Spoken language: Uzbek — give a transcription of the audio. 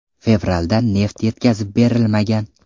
Fevralda neft yetkazib berilmagan.